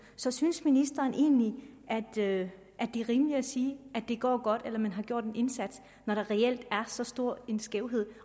så synes ministeren egentlig at det er rimeligt at sige at det går godt eller at man har gjort en indsats når der reelt er så stor en skævhed